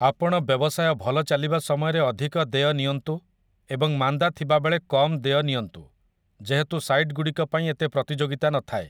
ଆପଣ ବ୍ୟବସାୟ ଭଲ ଚାଲିବା ସମୟରେ ଅଧିକ ଦେୟ ନିଅନ୍ତୁ ଏବଂ ମାନ୍ଦା ଥିବା ବେଳେ କମ୍ ଦେୟ ନିଅନ୍ତୁ, ଯେହେତୁ ସାଇଟ୍‌ଗୁଡ଼ିକପାଇଁ ଏତେ ପ୍ରତିଯୋଗିତା ନଥାଏ ।